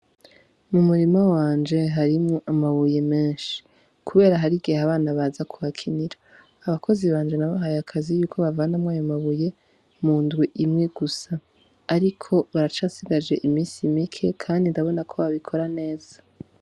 M'umurima wanje harimwo amabuye menshi kubera har'igihe abana baza kuhakinira, abakozi banje nabahaye akazi yuko bavanamwo ayo mabuye mu ndwi imwe gusa ariko barasigaje imisi mike kandi ndabona ko babikora neza.